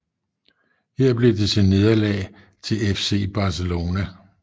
Her blev det til nederlag til FC Barcelona